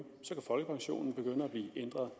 så kan folkepensionen begynde at blive ændret